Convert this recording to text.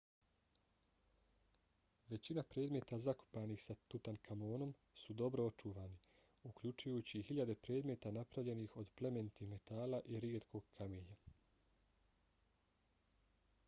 većina predmeta zakopanih sa tutankamonom su dobro očuvani uključujući i hiljade predmeta napravljenih od plemenitih metala i rijetkog kamenja